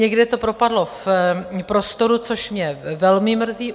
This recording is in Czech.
Někde to propadlo v prostoru, což mě velmi mrzí.